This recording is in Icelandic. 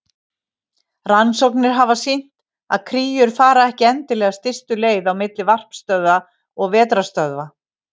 Rannsóknir hafa sýnt að kríur fara ekki endilega stystu leið á milli varpstöðva og vetrarstöðva.